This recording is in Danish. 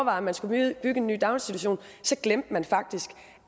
om man skulle bygge en ny daginstitution glemte man faktisk